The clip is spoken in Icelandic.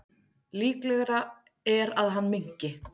Líklegra er að hann minnki.